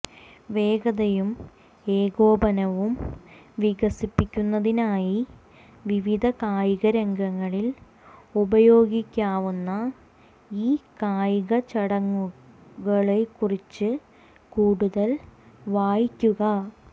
വേഗതയും ഏകോപനവും വികസിപ്പിക്കുന്നതിനായി വിവിധ കായികരംഗങ്ങളിൽ ഉപയോഗിക്കാവുന്ന ഈ കായികചടങ്ങുകളെക്കുറിച്ച് കൂടുതൽ വായിക്കുക